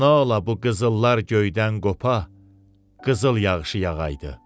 Nə ola bu qızıllar göydən qopa, qızıl yağışı yağa idi.